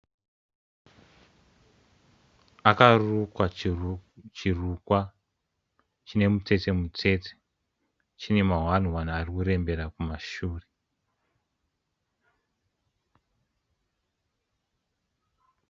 Akarukwa chiru chirukwa chinemutsetse-mutsetse, chinemahwani-hwani arikurembera kumashure.